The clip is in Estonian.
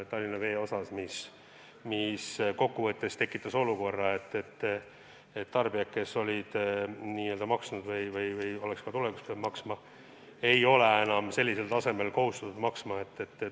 Kokku võttes on see tekitanud olukorra, et Tallinna Vee tarbijad, kes olid maksnud ja oleks pidanud tulevikus ka teatud tasu maksma, ei ole enam kohustatud nii palju maksma.